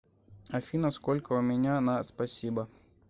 афина сколько у меня на спасибо